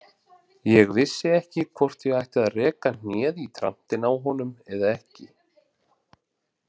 Ég vissi ekki hvort ég ætti að reka hnéð í trantinn á honum eða ekki.